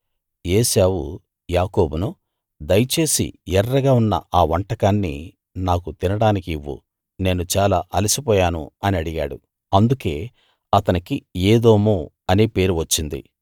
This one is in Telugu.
ఏశావు యాకోబును దయచేసి ఎర్రగా ఉన్న ఆ వంటకాన్ని నాకు తినడానికివ్వు నేను చాలా అలసి పోయాను అని అడిగాడు అందుకే అతనికి ఏదోము అనే పేరు వచ్చింది